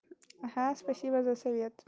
ага спасибо за совет